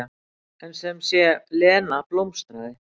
En sem sé, Lena blómstraði.